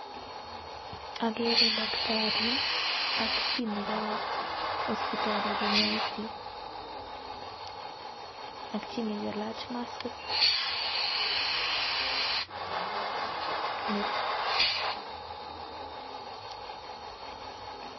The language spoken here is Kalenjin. Akerei [daktari] ak chi nekawo kinyaa ak chi nekelach [maskit]